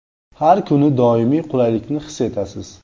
Har kuni doimiy qulaylikni his etasiz.